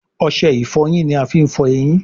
Ọṣẹ ìfọyín ní a fín fọ ẹyìn.